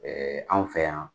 anw fɛ yan.